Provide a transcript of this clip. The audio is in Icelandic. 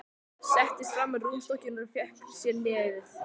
Settist fram á rúmstokkinn og fékk sér í nefið.